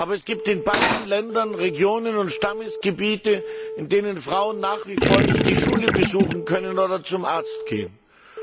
Aber es gibt in beiden Ländern Regionen und Stammesgebiete, in denen Frauen nach wie vor nicht die Schule besuchen oder zum Arzt gehen können.